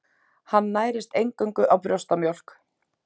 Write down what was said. Hann nærist eingöngu á brjóstamjólk.